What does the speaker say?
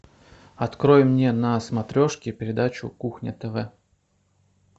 открой мне на смотрешке передачу кухня тв